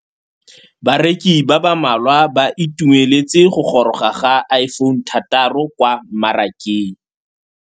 Bareki ba ba malwa ba ituemeletse go gôrôga ga Iphone6 kwa mmarakeng.